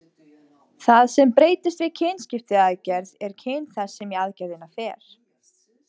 Það sem breytist við kynskipaiaðgerð er kyn þess sem í aðgerðina fer.